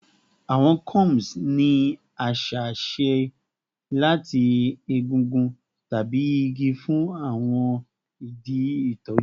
Awọn combs ni aṣa ṣe lati egungun tabi igi fun awọn idi itọju